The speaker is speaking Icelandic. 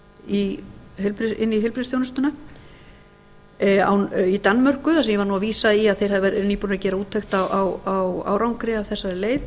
inn í heilbrigðisþjónustuna í danmörku þar sem ég var að vísa í að þeir eru nýbúnir að gera úttekt á árangri af þessari leið